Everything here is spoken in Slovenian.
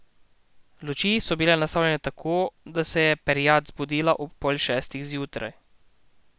Luči so bile nastavljene tako, da se je perjad zbudila ob pol šestih zjutraj.